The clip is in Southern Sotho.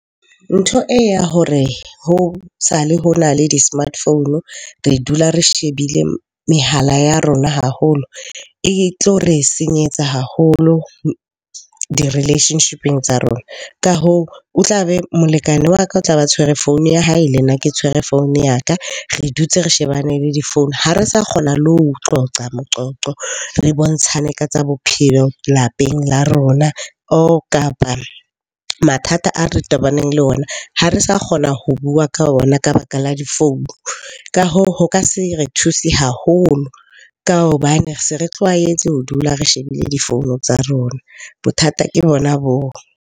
Ntho e ya hore ho sale ho na le di-smartphone re dula re shebile mehala ya rona haholo, e tlo re senyetsa haholo di relationship-eng tsa rona. Ka hoo, molekane wa ka o tlabe a tshwere founu ya hae, le nna ke tshwere founu ya ka. Re dutse re shebane le difounu ha re sa kgona le ho qoqa moqoqo. Re bontshane ka tsa bophelo lapeng la rona or kapa mathata ao re tobanang le ona, ha re sa kgona ho bua ka ona ka baka la difounu. Ka hoo, ho ka se re thusa haholo ka hobane re se re tlwaetse ho dula re shebile difounu tsa rona. Bothata ke bona boo.